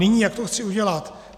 Nyní, jak to chci udělat.